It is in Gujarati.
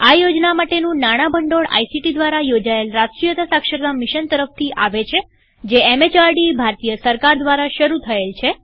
આ યોજના માટેનું નાણાં ભંડોળ આઇસીટી દ્વારા યોજાયેલ રાષ્ટ્રીય સાક્ષરતા મિશન તરફથી આવે છેજે MHRDભારતીય સરકાર દ્વારા શરુ થયેલ છે